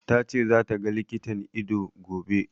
Ta ce za ta ga likitan ido, gobe.